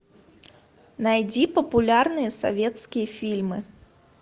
найди популярные советские фильмы